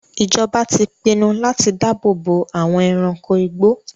Ìjọba ti pinnu láti dáàbò bo àwọn ẹranko igbó.